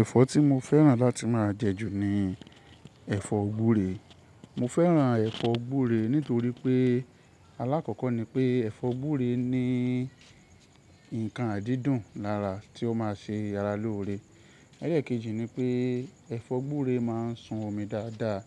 Ẹ̀fọ́ tí mo fẹ́ràn láti máa jẹ jù ni ẹ̀fọ́ gúree. Mo fẹ́ràn ẹ̀fọ́ gúree nítorí pé alákọ̀ọ́kọ́ ni pé ẹ̀fọ́ gúree ni nǹkan àdídùn lára tí ó máa ṣe ara lóore. Ẹ̀lẹ́ kejì ni pé ẹ̀fọ́ gbúre máa ń sun omi dáadáa,